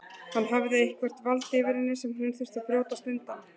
Hann hafði eitthvert vald yfir henni sem hún þurfti að brjótast undan.